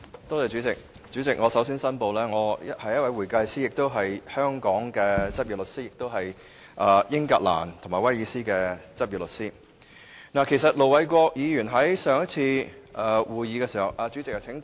代理主席，我首先申報我是一名會計師，亦是香港的執業律師，以及英格蘭及威爾斯的執業律師。盧偉國議員在上次會議時......